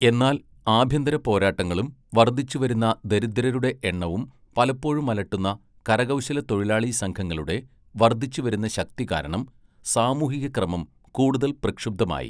എന്നാൽ, ആഭ്യന്തര പോരാട്ടങ്ങളും വർദ്ധിച്ചുവരുന്ന ദരിദ്രരുടെ എണ്ണവും പലപ്പോഴും അലട്ടുന്ന കരകൗശലത്തൊഴിലാളി സംഘങ്ങളുടെ വർദ്ധിച്ചുവരുന്ന ശക്തി കാരണം സാമൂഹിക ക്രമം കൂടുതൽ പ്രക്ഷുബ്ധമായി.